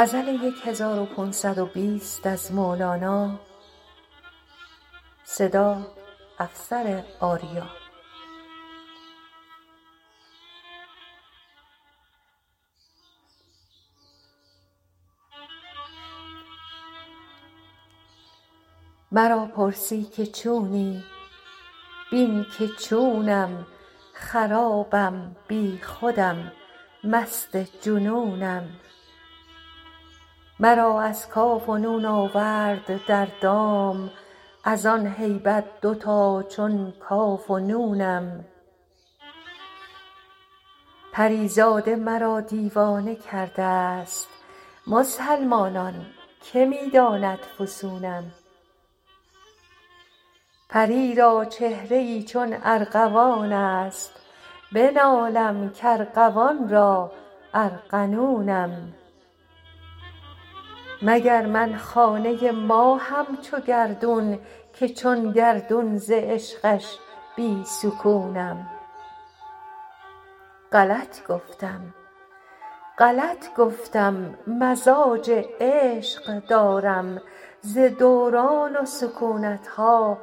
مرا پرسی که چونی بین که چونم خرابم بی خودم مست جنونم مرا از کاف و نون آورد در دام از آن هیبت دوتا چون کاف و نونم پری زاده مرا دیوانه کرده ست مسلمانان که می داند فسونم پری را چهره ای چون ارغوان است بنالم کارغوان را ارغنونم مگر من خانه ی ماهم چو گردون که چون گردون ز عشقش بی سکونم غلط گفتم مزاج عشق دارم ز دوران و سکونت ها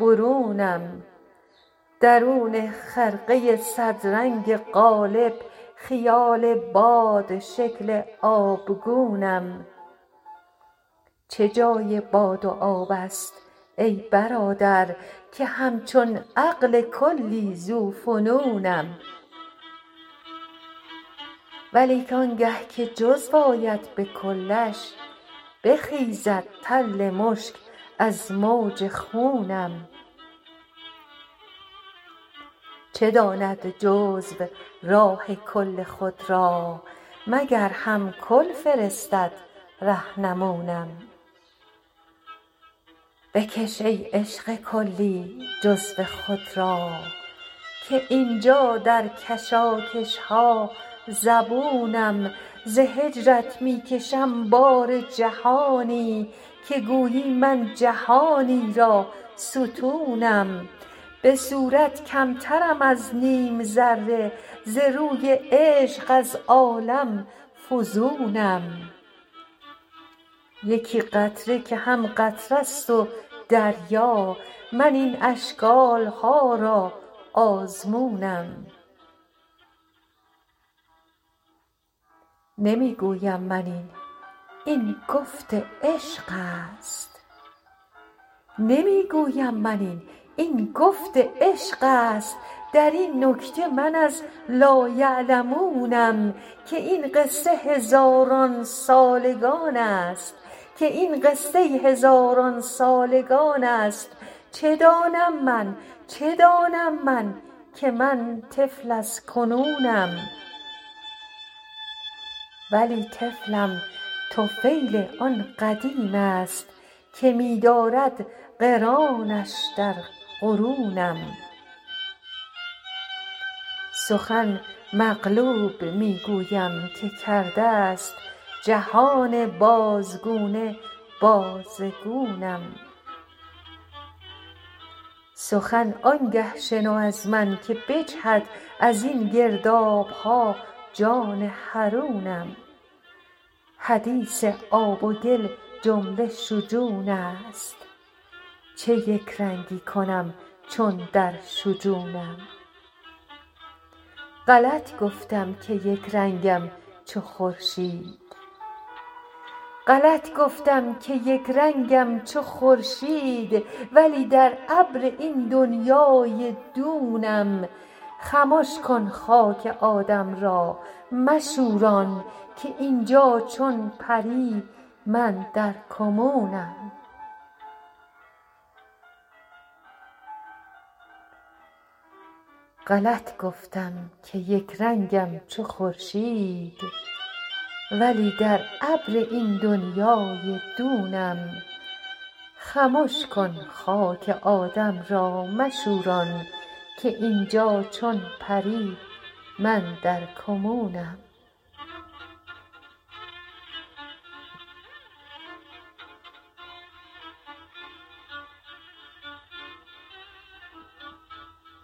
برونم درون خرقه ی صدرنگ قالب خیال بادشکل آبگونم چه جای باد و آب است ای برادر که همچون عقل کلی ذوفنونم ولیک آنگه که جزو آید به کلش بخیزد تل مشک از موج خونم چه داند جزو راه کل خود را مگر هم کل فرستد رهنمونم بکش ای عشق کلی جزو خود را که این جا در کشاکش ها زبونم ز هجرت می کشم بار جهانی که گویی من جهانی را ستونم به صورت کمترم از نیم ذره ز روی عشق از عالم فزونم یکی قطره که هم قطره ست و دریا من این اشکال ها را آزمونم نمی گویم من این این گفت عشق است در این نکته من از لایعلمونم که این قصه هزاران سالگان است چه دانم من که من طفل از کنونم ولی طفلم طفیل آن قدیم است که می دارد قرانش در قرونم سخن مقلوب می گویم که کرده ست جهان بازگونه بازگونم سخن آنگه شنو از من که بجهد از این گرداب ها جان حرونم حدیث آب و گل جمله شجون است چه یک رنگی کنم چون در شجونم غلط گفتم که یک رنگم چو خورشید ولی در ابر این دنیای دونم خمش کن خاک آدم را مشوران که این جا چون پری من در کمونم